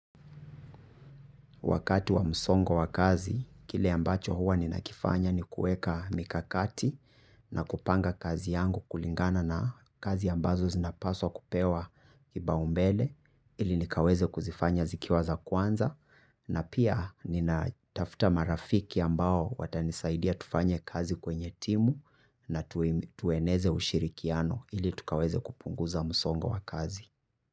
Wakati wa msongo wa kazi, kile ambacho huwa nina kifanya ni kueka mikakati na kupanga kazi yangu kulingana na kazi ambazo zinapaswa kupewa kiba umbele ili nikaweze kuzifanya zikiwa za kwanza na pia nina tafta marafiki ambao watanisaidia tufanye kazi kwenye timu na tuweneze ushirikiano ili tukaweze kupunguza msongo wa kazi.